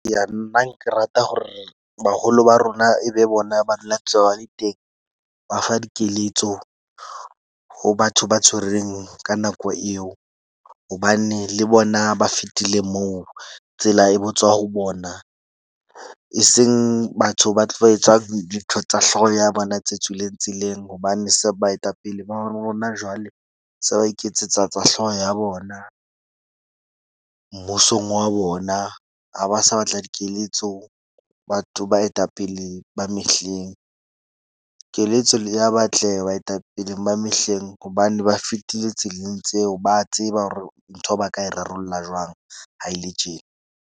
Eya nna ke rata hore baholo ba rona e be bona, ba dula ntse ba le teng ba fa dikeletso ho batho ba tshwereng ka nako eo. Hobane le bona ba fetile moo tsela e botswa ho bona. E seng batho ba tlo ba etsa dintho tsa hlooho ya bona tse tswileng tseleng. Hobane se baetapele ba rona jwale se ba iketsetsa tsa hlooho ya bona mmusong wa bona. Ha ba sa batla dikeletso, batho baetapele ba mehleng, keletso le ya batle baetapeleng ba mehleng hobane ba fetile tseleng tseo ba tseba hore ntho ba ka e rarollla jwang. Ha e le tjena.